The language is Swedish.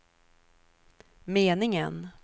meningen